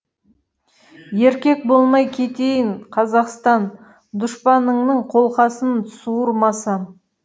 еркек болмай кетейін қазақстан дұшпаныңның қолқасын суырмасам